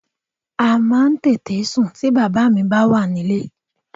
A máa ń tètè sùn ti bàbá mi bá wà nílé